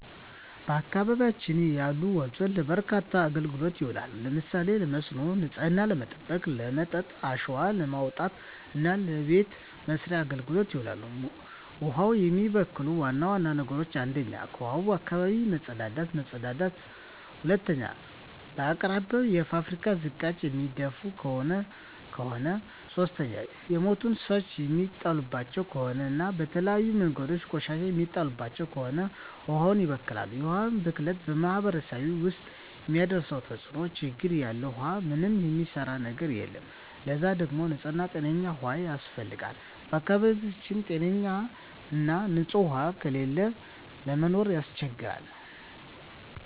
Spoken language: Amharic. በአካባቢያችን ያሉ ወንዞች ለበርካታ አገልግሎቶች ይውላሉ። ለምሳሌ ለመስኖ፣ ንጽህናን ለመጠበቅ፣ ለመጠጥ፣ አሸዋ ለማውጣት እና ለበቤት መሥርያ አገልግሎት ይውላሉ። ውሀን የሚበክሉ ዋና ዋና ነገሮች 1ኛ ከውሀዋች አካባቢ መጸዳዳት መጸዳዳት 2ኛ በአቅራቢያው የፋብሪካ ዝቃጭ የሚደፍ ከሆነ ከሆነ 3ኛ የሞቱ እንስሳት የሚጣልባቸው ከሆነ እና በተለያዩ መንገዶች ቆሻሻ የሚጣልባቸው ከሆነ ውሀዋች ይበከላሉ። የውሀ ብክለት በማህረሰቡ ውስጥ የሚያደርሰው ተጽዕኖ (ችግር) ያለ ውሃ ምንም የሚሰራ ነገር የለም ለዛ ደግሞ ንጽህና ጤነኛ ውሃ ያስፈልጋል በአካባቢው ጤነኛ ና ንጽህ ውሃ ከሌለ ለመኖር ያስቸግራል።